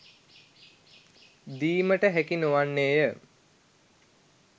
දීමට හැකි නොවන්නේය